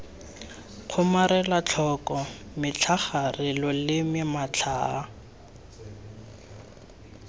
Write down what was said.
kgomarela tlhoko metlhagare loleme matlhaa